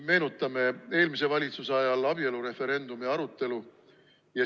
Meenutame eelmise valitsuse ajal abielureferendumi arutelu.